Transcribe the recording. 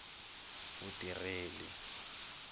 vutireli